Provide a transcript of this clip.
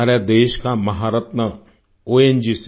हमारे देश का महारत्न ओंजीसी